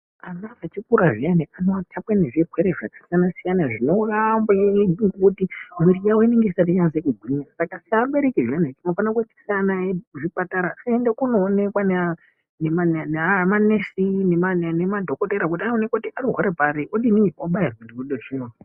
Ana echikura zviyani anoathakwa ngezvirwere zvakasiyana siyana zvinouraya amweni. Ngekuti mwiri yawo inenge isati yanasa kugwinya. Saka seabereki zviyani tinofanira kuendesa ana edu kuzvipatara aende kundoonekwa ngemanesi nemadhokothera kuti andoonekwa kuti anorwara pari. Odini abayirwe zvirwere.